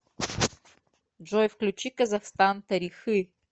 джой включи казахстан тарихы